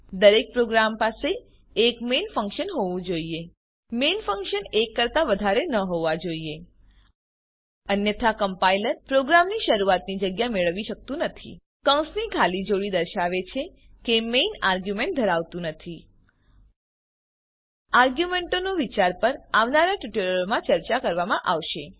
દરેક પ્રોગ્રામ પાસે એક મેઇન ફંક્શન હોવું જોઈએ મેઇન ફંક્શન એક કરતા વધારે ન હોવા જોઈએ અન્યથા કમ્પાઈલર પ્રોગ્રામની શરૂઆતની જગ્યા મેળવી શકતું નથી કૌંસની ખાલી જોડી દર્શાવે છે કે મેઇન આર્ગ્યુંમેંટ ધરાવતું નથી આર્ગ્યુંમેંટોનાં વિચાર પર આવનારા ટ્યુટોરીયલોમાં ચર્ચા કરવામાં આવશે